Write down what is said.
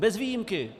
Bez výjimky.